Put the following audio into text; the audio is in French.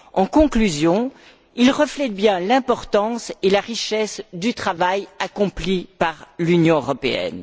En conclusion, il reflète bien l'importance et la richesse du travail accompli par l'Union européenne.